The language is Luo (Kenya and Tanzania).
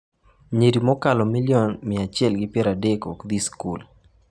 Nyiri mokalo milion 130 ok dhi skul